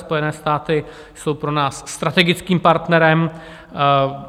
Spojené státy jsou pro nás strategickým partnerem.